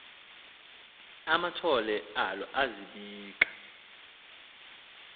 amathole alo azibika